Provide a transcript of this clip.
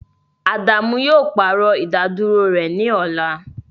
Adamu yoo paarọ idaduro rẹ ni ọla